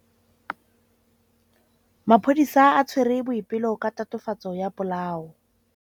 Maphodisa a tshwere Boipelo ka tatofatsô ya polaô.